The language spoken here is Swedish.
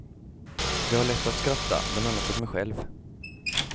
Jag har lätt att skratta, bland annat åt mig själv.